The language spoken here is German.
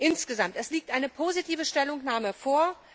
Insgesamt liegt eine positive Stellungnahme vor.